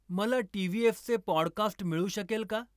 मला टीव्हीएफचे पॉडकास्ट मिळू शकेल का?